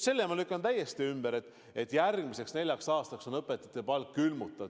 Selle ma lükkan täiesti ümber, et järgmiseks neljaks aastaks on õpetajate palk külmutatud.